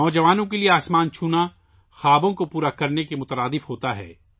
نوجوانوں کے لیے آسمان کو چھونا خوابوں کو سچ کرنے کے مترادف ہوتا ہے